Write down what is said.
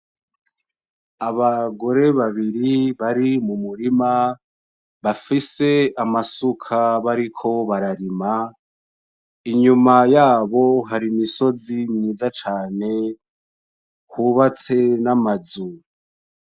Abagore babiri bari mu murima bafise amasuka bariko bararima. Inyuma yabo hari imisozi myiza cane hubatse n’amazu.